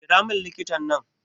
Kiramin likitan nan